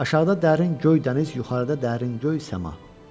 Aşağıda dərin göy dəniz, yuxarıda dərin göy səma.